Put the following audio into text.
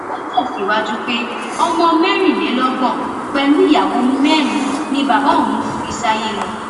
ó tẹsíwájú pé ọmọ mẹrìnlélọgbọn pẹlú ìyàwó mẹrin ni bàbá àwọn fi sáyé lọ